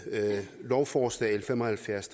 lovforslag l fem og halvfjerds